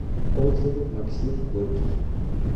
отзывы максим горький